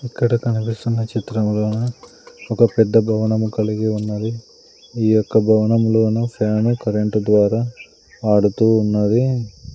ఇక్కడ కనిపిస్తున్న చిత్రములోన ఒక పెద్ద భవనము కలిగి ఉన్నది ఈ యొక్క భవనంలోనా ఫ్యాన్ కరెంటు ద్వారా ఆడుతూ ఉన్నది.